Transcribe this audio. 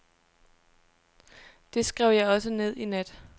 Det skrev jeg også ned i nat.